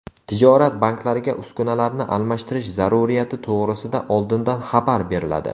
Tijorat banklariga uskunalarni almashtirish zaruriyati to‘g‘risida oldindan xabar beriladi.